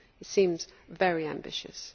It seems very ambitious.